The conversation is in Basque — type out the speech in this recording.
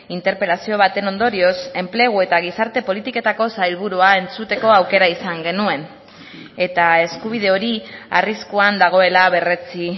interpelazio baten ondorioz enplegu eta gizarte politiketako sailburua entzuteko aukera izan genuen eta eskubide hori arriskuan dagoela berretsi